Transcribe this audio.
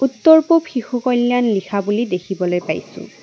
উত্তৰ পূৱ শিশু কল্যাণ লিখা বুলি দেখিবলৈ পাইছোঁ।